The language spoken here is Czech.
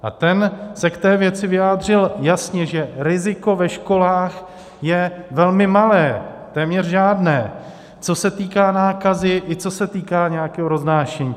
A ten se k té věci vyjádřil jasně, že riziko ve školách je velmi malé, téměř žádné, co se týká nákazy i co se týká nějakého roznášení.